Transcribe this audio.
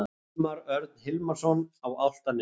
Hilmar Örn Hilmarsson á Álftanesi